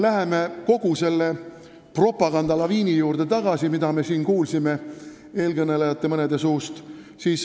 Läheme nüüd selle propagandalaviini juurde tagasi, mida me siin mõne eelkõneleja suust kuulsime.